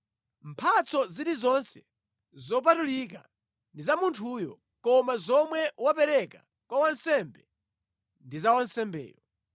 Mphatso zilizonse zopatulika ndi za munthuyo, koma zomwe wapereka kwa wansembe ndi za wansembeyo.’ ”